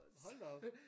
Hold da op